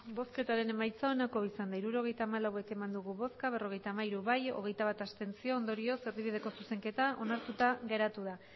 hirurogeita hamalau eman dugu bozka berrogeita hamairu bai hogeita bat abstentzio ondorioz erdibideko zuzenketa onartuta geratu da